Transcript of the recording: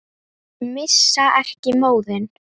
Missa ekki móðinn.